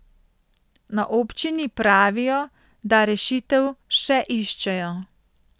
Na občini pravijo, da rešitev še iščejo.